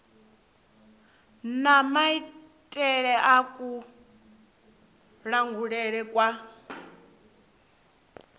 na maitele a kulangulele kwa